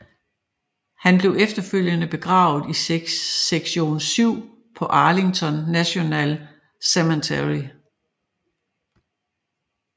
Han blev efterfølgende begravet i sektion 7 på Arlington National Cemetery